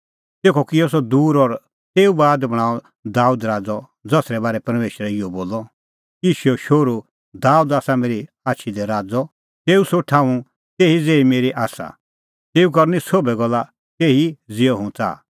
तेखअ किअ सह दूर और तेऊ बाद बणांअ दाबेद राज़अ ज़सरै बारै परमेशरै इहअ बोलअ यिशैओ शोहरू दाबेद आसा मेरी आछी दी राज़अ तेऊए सोठ आसा तेही ज़ेही मेरी आसा तेऊ करनी सोभै गल्ला तेही ज़िहअ हुंह च़ाहा